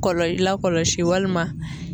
Kɔlɔ lakɔlɔsi walima